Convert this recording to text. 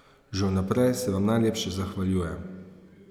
Že vnaprej se vam najlepše zahvaljujem.